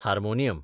harmonium